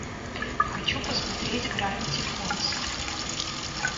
хочу посмотреть гравити фолз